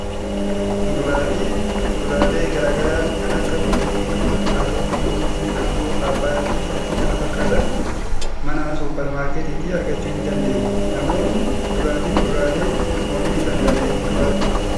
Muduraa fi kuduraaree garaa garaa kan akka qullubbii diimaa, kaarotii, muuzii, maangoo, paappayyaa fi kanneen kana fakkaatan mana suupper maarketiitii argachuu ni dandeenya. Namoonni kuduraa fi fuduraalee oomishuu danda'an eenyufaati?